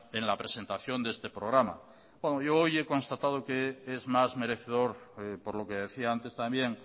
en la presentación de este programa bueno yo hoy he constatado que es más merecedor por lo que decía antes también